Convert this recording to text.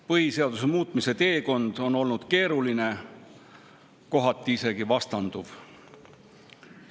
Põhiseaduse muutmise teekond on olnud keeruline, kohati isegi vastanduv.